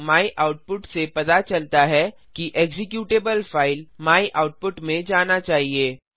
o my output से पता चलता है कि एक्जीक्यूटेबल फाइल मायआउटपुट में जाना चाहिए